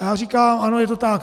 A já říkám: Ano, je to tak.